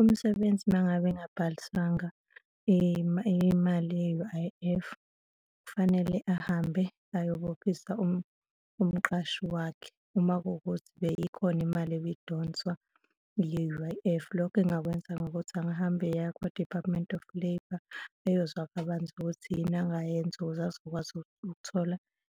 Umsebenzi uma ngabe engabhalisangwa imali ye-U_I_F, kufanele ahambe ayobophisa umqashi wakhe uma kuwukuthi beyikhona imali ebidonswa yile-U_I_F. Lokho engakwenza ngokuthi engahamba eya kwa-Department of Labour eyozwa kabanzi ukuthi yini angayenza ukuze azokwazi ukuthola